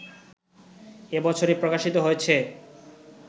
এ বছরই প্রকাশিত হয়েছে